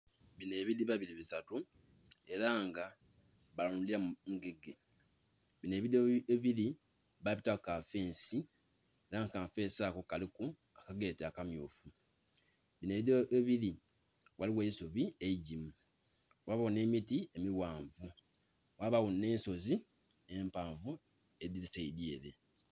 Binho ebidhiba bili bisatu era nga balundhiramu ngege. Binho ebidhiba ghebili babitaku kafensi era nga kafensi ako kaliku akageti akammyufu. Binho ebidhiba ghebili ghaligho eisubi eigimu, ghaba nh'emiti emighanvu, ghabagho nh'ensozi empanvu edhiri saidhyere.